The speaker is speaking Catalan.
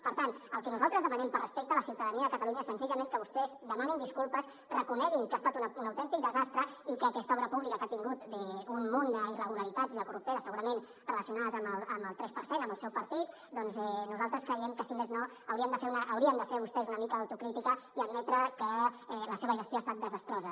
per tant el que nosaltres demanem per respecte a la ciutadania de catalunya és senzillament que vostès demanin disculpes reconeguin que ha estat un autèntic desastre i que aquesta obra pública que ha tingut un munt d’irregularitats i de corruptela segurament relacionades amb el tres per cent amb el seu partit doncs nosaltres creiem que si més no haurien de fer vostès una mica d’autocrítica i admetre que la seva gestió ha estat desastrosa